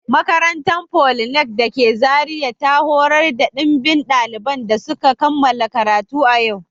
Makarantar politeknik da ke Zaria ta horar da dimbin daliban da suka kammala karatu a yau